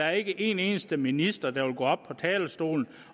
er en eneste minister der vil gå op på talerstolen